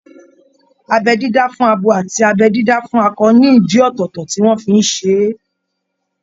Abẹ́ dídá fún abo àti abẹ́ dídá fún akọ ní ìdí ọ̀tọ̀ọ̀tọ̀ tí wọ́n fi ń ṣe é